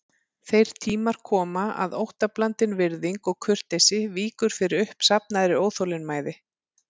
Þeir tímar koma að óttablandin virðing og kurteisi víkur fyrir uppsafnaðri óþolinmæði.